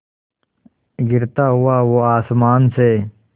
गिरता हुआ वो आसमां से